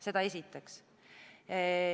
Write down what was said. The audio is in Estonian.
Seda esiteks.